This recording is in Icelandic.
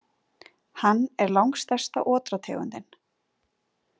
Hann er langstærsta otrategundin.